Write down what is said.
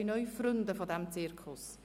Neu gibt es Freunde des Zirkus.